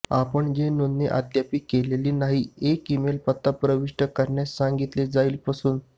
आपण जे नोंदणी अद्याप केले नाही एक ईमेल पत्ता प्रविष्ट करण्यास सांगितले जाईल पासून